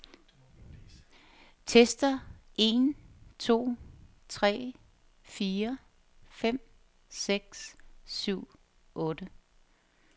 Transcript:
Tester en to tre fire fem seks syv otte.